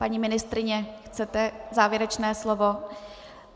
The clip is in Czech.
Paní ministryně, chcete závěrečné slovo?